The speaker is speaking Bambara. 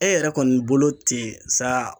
E yɛrɛ kɔni bolo ten sa